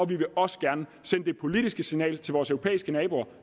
vi vil også gerne sende det politiske signal til vores europæiske naboer